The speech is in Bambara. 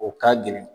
O ka gɛlɛn